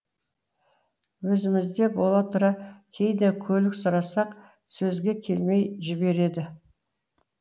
өзімізде бола тұра кейде көлік сұрасақ сөзге келмей жібереді